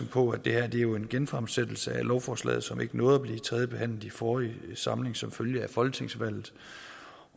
på at det her jo er en genfremsættelse af lovforslaget som ikke nåede at blive tredjebehandlet i forrige samling som følge af folketingsvalget